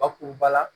Bakuruba la